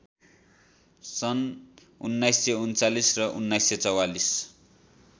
सन् १९३९ र १९४४